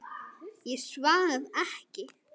Ég svaf ekki.